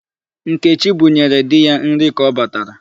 Nkechi bunyere di ya nri ka ọ batara.